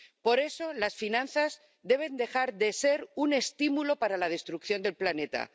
Por eso las finanzas deben dejar de ser un estímulo para la destrucción del planeta.